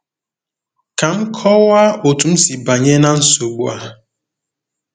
Ka m kọwaa otú m si banye ná nsogbu a.